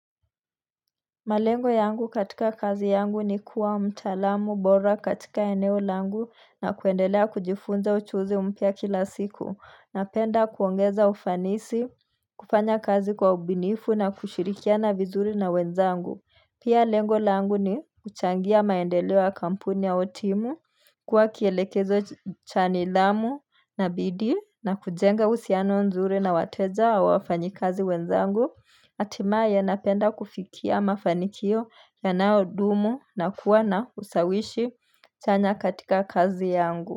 Malengo yangu katika kazi yangu ni kuwa mtalamu bora katika eneo langu na kuendelea kujifunza uchuuzi mpya kila siku. Napenda kuongeza ufanisi, kufanya kazi kwa ubunifu na kushirikia na vizuri na wenzangu. Pia lengo langu ni kuchangia maendeleo ya kampuni au timu, kuwa kielekezo cha nidhamu na bidii na kujenga uhusiano nzuri na wateja wawafanyi kazi wenzangu. Atima ya napenda kufikia mafanikio ya naodumu na kuwa na ushawishi chanya katika kazi yangu.